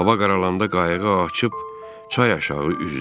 Hava qaralanda qayıqı açıb çay aşağı üzdüm.